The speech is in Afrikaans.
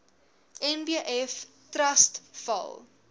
nbf trust val